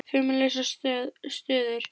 Fimm lausar stöður?